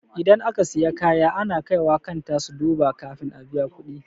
Idan aka siya kaya ana kaiwa kanta su duba kafin a biya kuɗi.